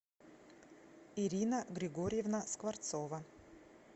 ирина григорьевна скворцова